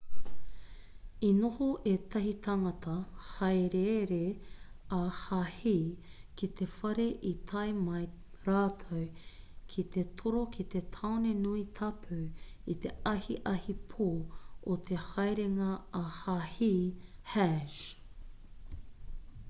i noho ētahi tāngata hāereere ā-hāhi ki te whare i tae mai rātou ki te toro ki te tāone nui tapu i te ahiahi pō o te haerenga ā-hāhi hajj